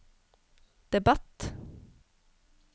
debatt